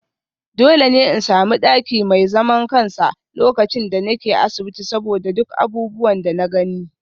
Dole ne in sami daki mai zaman kansa lokacin da nake asibiti saboda duk abubuwan da na gani